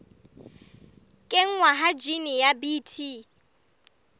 kenngwa ha jine ya bt